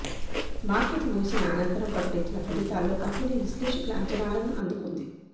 market ముగిసిన అనంతరం ప్రకటించిన ఫలితాల్లో కంపెనీ విశ్లేషకుల అంచనాలను అందుకుంది